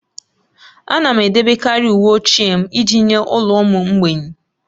Ana m edebekarị uwe ochie m iji nye ụlọ ụmụ mgbei.